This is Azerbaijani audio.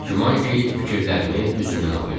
Güman ki, fikirlərimi üzümdən oxuyurdu.